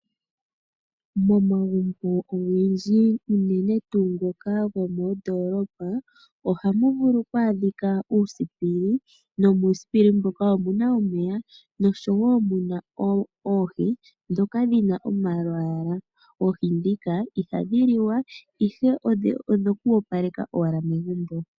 Momagumbo ogendji unene tuu ngoka gomondoolopa ohamu vulu kwaadhika uusipili, nomuusipili mbuka omuna omeya noshowo muna oohi dhoka dhina omalwaala. Oohi dhika ihadhi liwa ihe odhoku opaleka owala megumbo.